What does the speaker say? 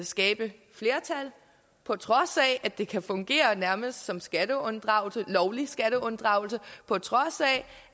skabe flertal på trods af at det kan fungere nærmest som skatteunddragelse lovlig skatteunddragelse på trods af